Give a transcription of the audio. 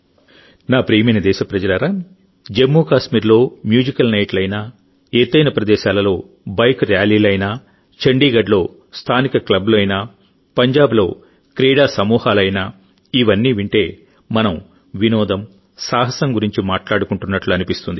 నా ప్రియమైన దేశప్రజలారాజమ్మూ కాశ్మీర్లో మ్యూజికల్ నైట్లు అయినా ఎత్తైన ప్రదేశాలలో బైక్ ర్యాలీలు అయినా చండీగఢ్లో స్థానిక క్లబ్లు అయినా పంజాబ్లో క్రీడా సమూహాలు అయినా ఇవన్నీ వింటే మనం వినోదం సాహసం గురించి మాట్లాడుకుంటున్నట్లు అనిపిస్తుంది